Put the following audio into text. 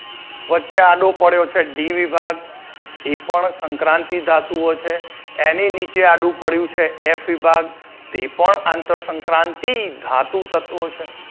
વચ્ચે આડો પડ્યો છે D વિભાગ એ પણ સંક્રાંતિ ધાતુઓ છે એની નીચે આડુ પડ્યું છે F વિભાગ તે પણ આંતરસંક્રાંતિ ધાતુ તત્વો છે.